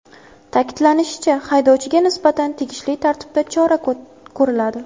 Ta’kidlanishicha, haydovchiga nisbatan tegishli tartibda chora ko‘riladi.